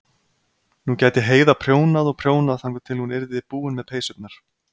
Nú gæti Heiða prjónað og prjónað þangað til hún yrði búin með peysurnar.